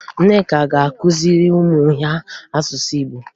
Nneka ga-akụziri ụmụ ya asụsụ Igbo